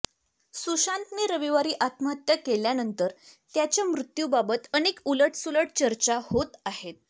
सुशांत रविवारी आत्महत्या केल्यानंतर त्याच्या मृत्यूबाबत अनेक उलटसुलट चर्चा होत आहेत